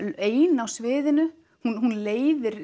ein á sviðinu hún leiðir